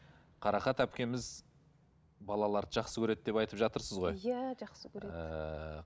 қарақат әпкеміз балаларды жақсы көреді деп айтып жатырсыз ғой иә жақсы көреді ііі